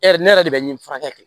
ne yɛrɛ de bɛ nin furakɛ kɛ